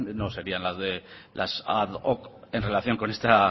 no serían las ad hoc en relación con esta